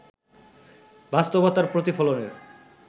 বাস্তবতার প্রতিফলনের